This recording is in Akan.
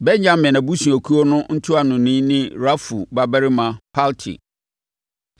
Benyamin abusuakuo no ntuanoni ne Rafu babarima Palti;